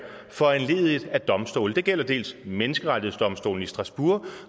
foranlediget af domstole det gælder dels menneskerettighedsdomstolen i strasbourg